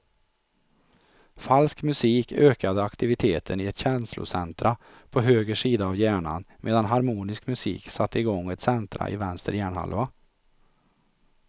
Falsk musik ökade aktiviteten i ett känslocentra på höger sida av hjärnan medan harmonisk musik satte igång ett centra i vänster hjärnhalva.